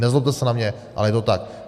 Nezlobte se na mě, ale je to tak.